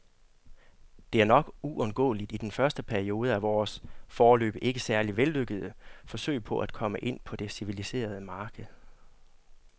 Det er nok uundgåeligt i den første periode af vores, foreløbig ikke særlig vellykkede, forsøg på at komme ind på det civiliserede marked.